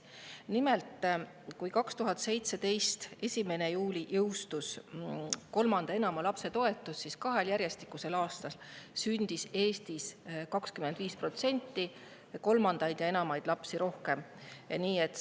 Nimelt, kui 1. juulil 2017 jõustus kolmanda ja enama lapse toetus, siis kahel järjestikusel aastal sündis Eestis kolmandaid ja enamaid lapsi 25% rohkem.